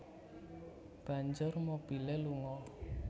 Banjur mobilé lunga